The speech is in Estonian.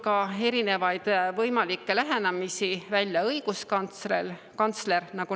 Erinevaid võimalikke lähenemisi on toonud välja ka õiguskantsler.